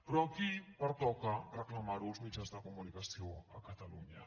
però aquí pertoca reclamar ho als mitjans de comunicació a catalunya